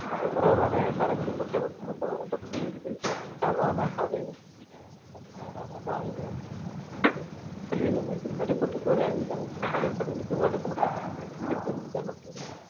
பரவலான மரங்களை கொண்ட வெப்பமண்டல வறண்ட புல்வெளிகள் சவானா பாலைவனங்கள் புல்வெளி அமைந்து நடுக்கோட்டிற்கு அருகில் அமைந்துள்ள மலைக்காடுகளுக்கு வடக்கு மற்றும் தெற்கு என இரு பகுதிகளில் காணப்படுகிறது